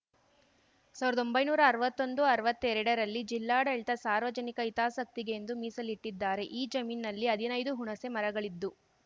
ಸಾವಿರ್ದ್ದೊಂಬೈನೂರಾ ಅರ್ವತ್ತೊಂದುಅರ್ವತ್ತೆರಡರಲ್ಲಿ ಜಿಲ್ಲಾಡಳಿತ ಸಾರ್ವಜನಿಕ ಹಿತಾಸಕ್ತಿಗೆ ಎಂದು ಮೀಸಲಿಟ್ಟಿದ್ದಾರೆ ಈ ಜಮೀನಿನಲ್ಲಿ ಹದಿನೈದು ಹುಣಸೆ ಮರಗಳಿದ್ದು